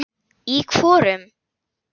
Í hvorum?